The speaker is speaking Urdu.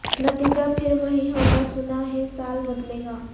نتیجہ پہر وہی ہوگا سنا ہے سال بدلے گا